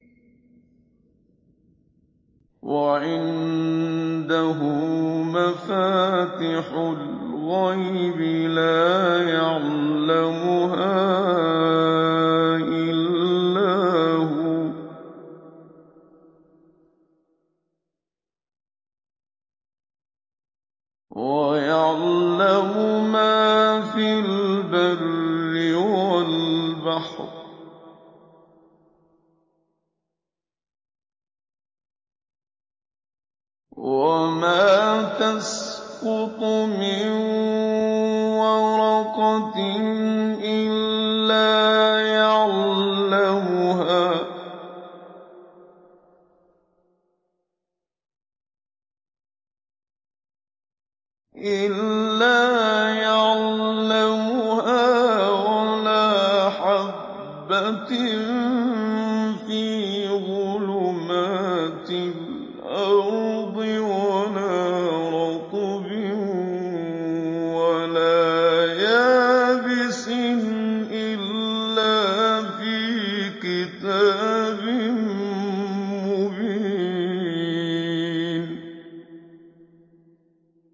۞ وَعِندَهُ مَفَاتِحُ الْغَيْبِ لَا يَعْلَمُهَا إِلَّا هُوَ ۚ وَيَعْلَمُ مَا فِي الْبَرِّ وَالْبَحْرِ ۚ وَمَا تَسْقُطُ مِن وَرَقَةٍ إِلَّا يَعْلَمُهَا وَلَا حَبَّةٍ فِي ظُلُمَاتِ الْأَرْضِ وَلَا رَطْبٍ وَلَا يَابِسٍ إِلَّا فِي كِتَابٍ مُّبِينٍ